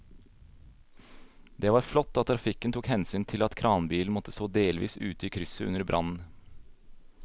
Det var flott at trafikken tok hensyn til at kranbilen måtte stå delvis ute i krysset under brannen.